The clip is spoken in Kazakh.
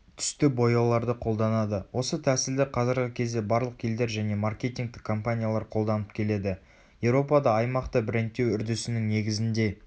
түсті бояуларды қолданады.осы тәсілді қазіргі кезде барлық елдер және маркетингтік компаниялар қолданып келеді.еуропада аймақты брендтеу үрдісінің негізінде